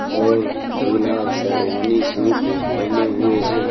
और दूल्हा शेरवानी सूट पहने हुए है।